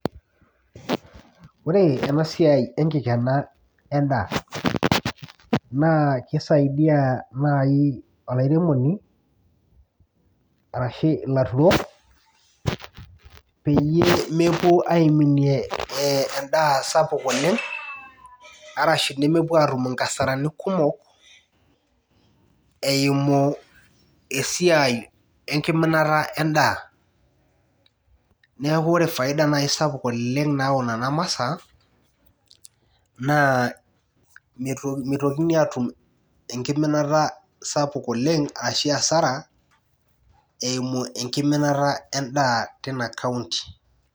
Ore enasiai enkikena endaa na kisaidia nai olairemoni arashu laruok peyie mepuo aiminie endaa sapuk oleng arashi nemepuo atum nkasarani kumok eimu esiai enkiminata endaa neaku ore faida sapuk oleng nayau nona masaa na mitokini atum enkiminata sapuk oleng ashu asara eimu enkiminata endaa ina county